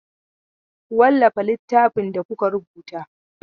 Ku wallafa littafin da kuka rubuta!